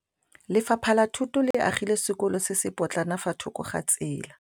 Lefapha la Thuto le agile sekôlô se se pôtlana fa thoko ga tsela.